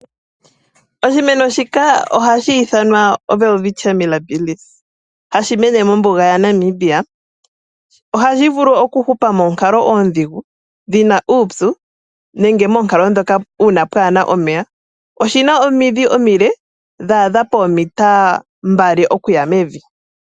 Oshimeno shika ohashi ithanwa oWelwitchia Millabis, ohashi mene mombuga yaNamibia, ohashi vulu okuhupa moonkalo oodhigu dhina uupyu nenge moonkalo dhoka uuna pwaana omeya, oshina omidhi omile dhaadha poometa mbali okuya mevi.